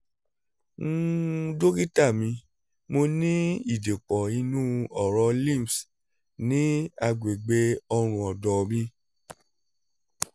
um dokita mi mo ní ìdìpọ̀ inú ọ̀rọ̀ lypmh ní àgbègbè ọ̀rùn ọ̀dọ́ mi